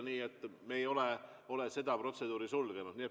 Nii et me ei ole seda protseduuri sulgenud.